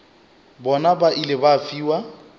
bona ba ile ba fiwa